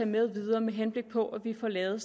med videre med henblik på at vi får lavet